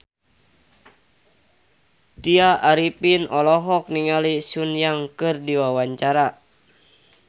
Tya Arifin olohok ningali Sun Yang keur diwawancara